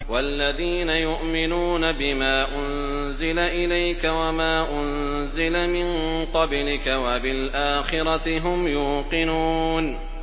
وَالَّذِينَ يُؤْمِنُونَ بِمَا أُنزِلَ إِلَيْكَ وَمَا أُنزِلَ مِن قَبْلِكَ وَبِالْآخِرَةِ هُمْ يُوقِنُونَ